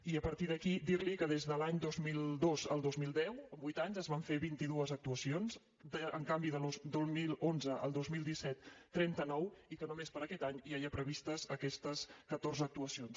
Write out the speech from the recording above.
i a partir d’aquí dir li que des de l’any dos mil dos al dos mil deu en vuit anys es van fer vint dos actuacions en canvi del dos mil onze al dos mil disset trenta nou i que només per a aquest any ja hi ha previstes aquestes catorze actuacions